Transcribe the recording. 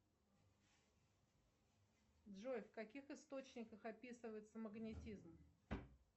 джой в каких источниках описывается магнитизм